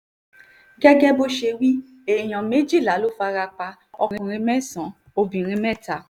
gẹ́gẹ́ bó ṣe wí èèyàn méjìlá ló fara pa ọkùnrin mẹ́sàn-án obìnrin mẹ́ta